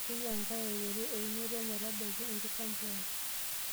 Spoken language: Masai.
Keyieu enkare aiteru eunoto metabaiki enkisampuare.